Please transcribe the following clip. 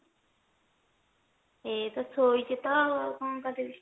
ଏଇ ତ ଶୋଇଛି ତ ଆଉ କଣ କରିବି